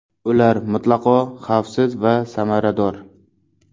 Ular mutlaqo xavfsiz va samarador.